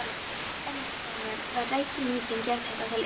Ennfremur var rædd nýting jarðhita til iðnaðar.